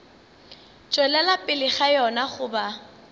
tšwelela pele ga yona goba